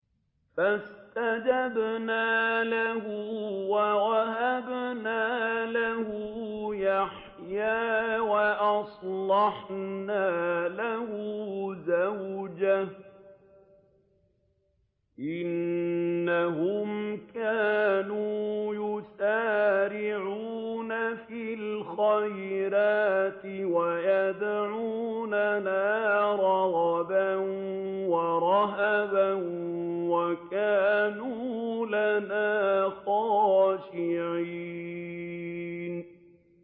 فَاسْتَجَبْنَا لَهُ وَوَهَبْنَا لَهُ يَحْيَىٰ وَأَصْلَحْنَا لَهُ زَوْجَهُ ۚ إِنَّهُمْ كَانُوا يُسَارِعُونَ فِي الْخَيْرَاتِ وَيَدْعُونَنَا رَغَبًا وَرَهَبًا ۖ وَكَانُوا لَنَا خَاشِعِينَ